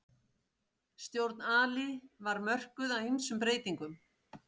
Stjórn Ali var mörkuð af ýmsum breytingum.